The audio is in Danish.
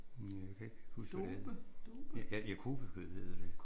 Jamen jeg kan ikke huske hvad det hed. Ja kobe hed det